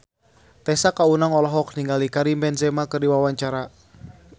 Tessa Kaunang olohok ningali Karim Benzema keur diwawancara